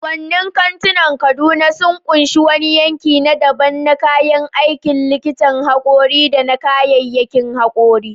Kasuwannin kantunan Kaduna sun ƙunshi wani yanki na daban na kayan aikin likitan haƙori da na kayyayakin haƙori.